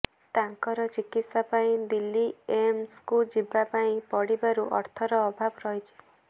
ତାଙ୍କର ଚିକିତ୍ସା ପାଇଁ ଦିଲ୍ଲୀ ଏମଏସ୍ କୁ ଯିବା ପାଇଁ ପଡିବାରୁ ଅର୍ଥର ଅଭାବ ରହିଛି